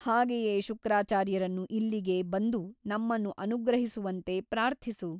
ಹಾಗೆಯೇ ಶುಕ್ರಾಚಾರ್ಯರನ್ನು ಇಲ್ಲಿಗೆ ಬಂದು ನಮ್ಮನ್ನು ಅನುಗ್ರಹಿಸುವಂತೆ ಪ್ರಾರ್ಥಿಸು.